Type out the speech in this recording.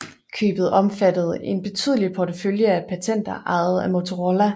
Købet omfattede en betydelig portefølje af patenter ejet af Motorola